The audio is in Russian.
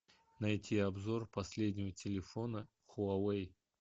найти обзор последнего телефона хуавей